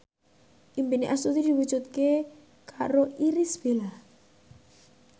impine Astuti diwujudke karo Irish Bella